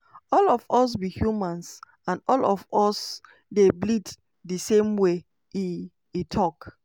all of us be humans and all of us dey bleed di same way" e e tok.